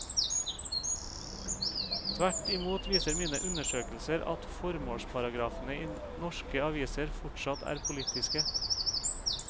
Tvert imot viser mine undersøkelser at formålsparagrafene i norske aviser fortsatt er politiske.